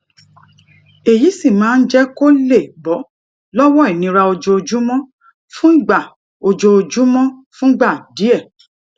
èyí sì máa ń jé kó lè bó lówó ìnira ojoojúmó fúngbà ojoojúmó fúngbà díè